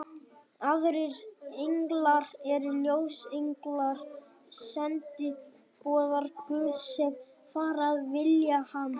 Aðrir englar eru ljósenglar, sendiboðar Guðs, sem fara að vilja hans.